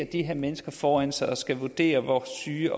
de her mennesker foran sig og skal vurdere hvor syge